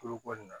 Kulukoro na